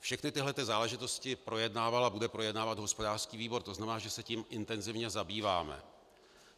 Všechny tyto záležitosti projednával a bude projednávat hospodářský výbor, to znamená, že se tím intenzivně zabýváme.